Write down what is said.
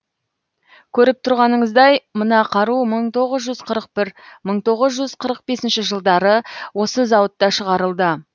көріп тұрғаныңыздай мына қару мың тоғыз жүз қырық бір мың тоғыз жүз қырық бесінші жылдары осы зауытта шығарылды